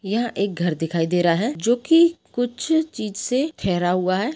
यह एक घर दिखाई दे रहा है जो कि कुछ चीज से ठहरा हुआ है।